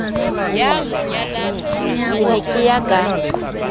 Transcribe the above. ke ne ke ya ka